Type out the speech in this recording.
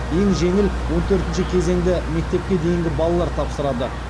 ең жеңіл он төртінші кезеңді мектепке дейінгі балалар тапсырады